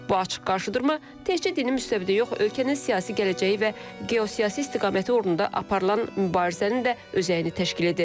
Bu açıq qarşıdurma təkcə dini müstəvidə yox, ölkənin siyasi gələcəyi və geosiyasi istiqaməti uğrunda aparılan mübarizənin də özəyini təşkil edir.